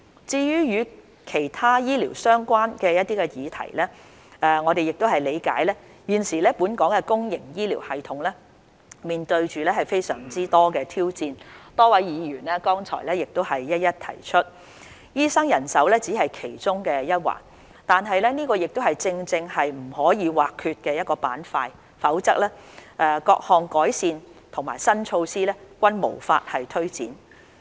至於與其他醫療相關的議題，我們理解現時本港的公營醫療系統面對非常多的挑戰，多位議員剛才亦一一提出，醫生人手只是其中一環，但這正正是不可或缺的板塊，否則各項改善和新措施均無法推展。